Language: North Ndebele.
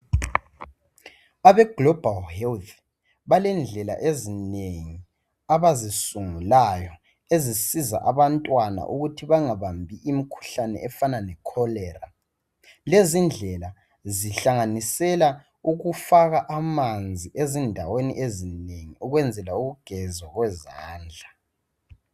Abe global health balendlela ezinengi abazisungulayo ezisiza abantwana ukuthi bangabambi imikhuhlane efana lecholera .Lezi ndlela zihlanganisela ukufaka amanzi ezindaweni ezinengi ukwenzela ukugezwa kwezandla .